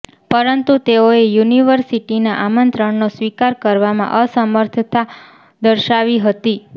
પરંતુ તેઓએ યુનિવર્સિટીના આમંત્રણનો સ્વીકાર કરવામાં અસમર્થતા દર્શાવી હતી